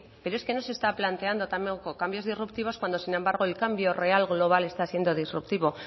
pero es que no se está planteando cambios disruptivos cuando sin embargo el cambio real global está siendo disruptivo